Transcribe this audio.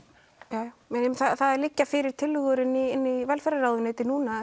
það liggja fyrir tillögur inni í velferðarráðuneyti núna